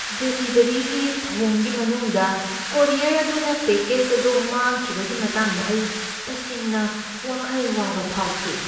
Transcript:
Delivery ꯊꯧꯑꯣꯡꯒꯤ ꯃꯅꯨꯡꯗ courier ꯑꯗꯨꯅ ꯄꯦꯀꯦꯖ ꯑꯗꯨ ꯃꯥꯡꯈꯤꯕꯒꯤ ꯃꯇꯥꯡꯗ ꯑꯩ ꯇꯁꯦꯡꯕ ꯋꯥꯈꯜ ꯋꯥꯕ ꯐꯥꯎꯈꯤ꯫